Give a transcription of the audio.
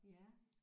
Ja